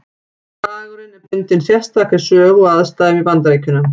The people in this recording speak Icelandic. Dagurinn er bundinn sérstakri sögu og aðstæðum í Bandaríkjunum.